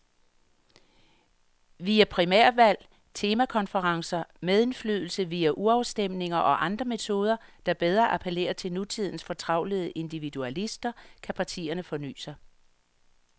Via primærvalg, temakonferencer, medindflydelse via urafstemninger og andre metoder, der bedre appellerer til nutidens fortravlede individualister, kan partierne forny sig.